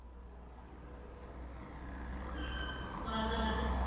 வரலாறு